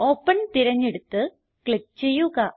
open തിരഞ്ഞെടുത്ത് click ചെയ്യുക